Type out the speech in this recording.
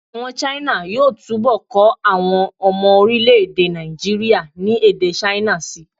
Àwọn China yóò túbọ̀ kọ́ àwọn ọmọ orílẹ̀-èdè Nàìjííríà ní èdè China síi